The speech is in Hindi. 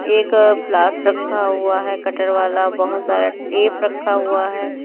एक प्लास रखा हुआ है कटर वाला बहुत सारा टेप रखा हुआ है।